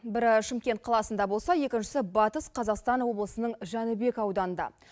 бірі шымкент қаласында болса екіншісі батыс қазақстан облысының жәнібек ауданында